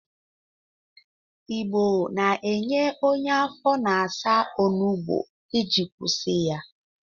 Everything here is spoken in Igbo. Igbo na-enye onye afọ na-asa onugbo iji kwụsị ya.